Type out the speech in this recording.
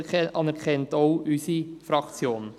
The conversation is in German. Dies anerkennt auch unsere Fraktion.